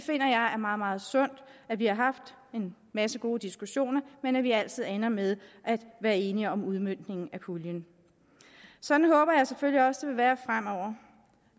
er meget sundt at vi har en masse gode diskussioner men at vi altid ender med at være enige om udmøntningen af puljen sådan håber jeg selvfølgelig også det vil være fremover